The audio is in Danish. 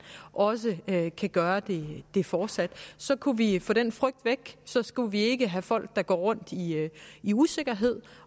også kan kan gøre det fortsat så kunne vi få den frygt væk så skulle vi ikke have folk der går rundt i usikkerhed